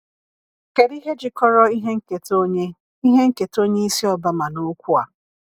Kedu ihe jikọrọ ihe nketa onye ihe nketa onye isi Obama na okwu a?